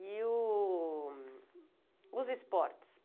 E o os esportes?